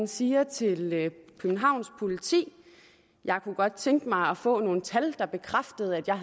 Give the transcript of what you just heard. siger til københavns politi jeg kunne godt tænke mig at få nogle tal der bekræfter at jeg